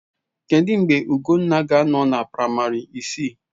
Kedụ mgbe Ugonna ga-anọ na praịmarị isii?